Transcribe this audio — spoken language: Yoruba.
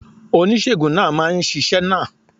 Oníṣègùn náà máa ṣiṣẹ́ náà.